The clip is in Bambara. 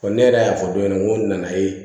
ne yɛrɛ y'a fɔ dɔw ɲɛna n ko nan'a ye